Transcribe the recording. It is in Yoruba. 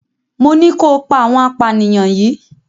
Mo ní kó pa àwọn apanìyà yìí!